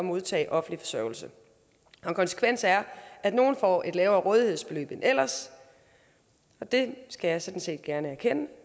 modtage offentlig forsørgelse en konsekvens er at nogle får et lavere rådighedsbeløb end ellers og det skal jeg sådan set gerne erkende